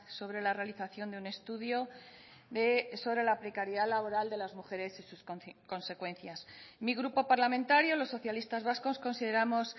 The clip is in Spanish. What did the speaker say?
sobre la realización de un estudio de sobre la precariedad laboral de las mujeres y sus consecuencias mi grupo parlamentario los socialistas vascos consideramos